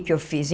Que que eu fiz?